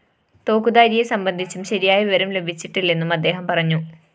തോക്കുധാരിയെ സംബന്ധിച്ചും ശരിയായ വിവരം ലഭിച്ചിട്ടില്ലെന്നും അദ്ദേഹം പറഞ്ഞു